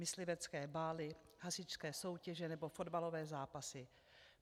Myslivecké bály, hasičské soutěže nebo fotbalové zápasy.